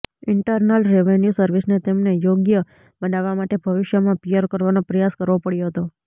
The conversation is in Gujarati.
ઇન્ટરનલ રેવેન્યૂ સર્વિસને તેમને યોગ્ય બનાવવા માટે ભવિષ્યમાં પીઅર કરવાનો પ્રયાસ કરવો પડ્યો હતો